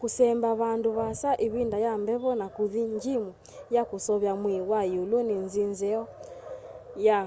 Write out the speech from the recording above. kũsemba vandũ vaasa ivinda ya mbevo na kũthi njimu ya kuseovya mwii wa iũlu ni nzi nzeo ya